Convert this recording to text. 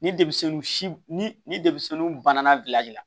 Ni denmisɛnnin ni denmisɛnnin banna la